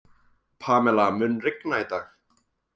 Pamela, mun rigna í dag?